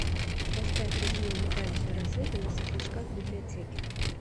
поставь режим имитацию рассвета на светлячках в библиотеке